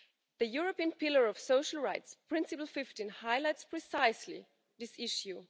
The European Pillar of Social Rights, Principle 15, highlights precisely this issue.